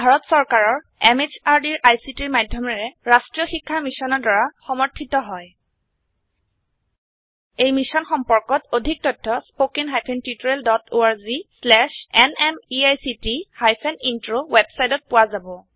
ই ভাৰত চৰকাৰৰ MHRDৰ ICTৰ মাধয়মেৰে ৰাস্ত্ৰীয় শিক্ষা মিছনৰ দ্ৱাৰা সমৰ্থিত হয় এই মিশ্যন সম্পৰ্কত অধিক তথ্য spoken hyphen tutorial dot org slash এনএমইআইচিত হাইফেন ইন্ট্ৰ ৱেবচাইটত পোৱা যাব